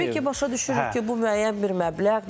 Təbii ki, başa düşürük ki, bu müəyyən bir məbləğdir.